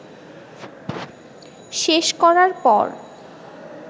শেষ করার পর